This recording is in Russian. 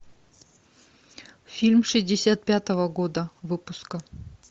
фильм шестьдесят пятого года выпуска